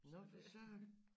Nå for søren